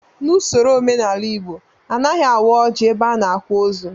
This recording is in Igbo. N'usoro omenala Igbo, anaghị awa ọjị ebe a na-akwa ozu